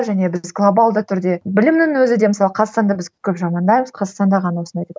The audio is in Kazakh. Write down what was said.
және біз глобалды түрде білімнің өзі де мысалы қазақстанда біз көп жамандаймыз қазақстанда ғана осындай деп